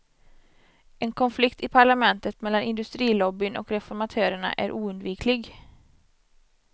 En konflikt i parlamentet mellan industrilobbyn och reformatörerna är oundviklig.